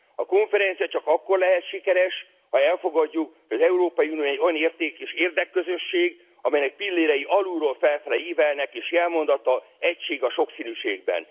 A konferencia csak akkor lehet sikeres, ha elfogadjuk, az Európai Unió egy olyan érték és érdekközösség, amelynek pillérei alulról felfelé ívelnek és jelmondata Egység a sokszínűségben.